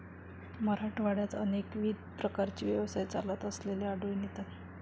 मराठवाड्यात अनेकविध प्रकारचे व्यवसाय चालत असलेले आढळून येतात.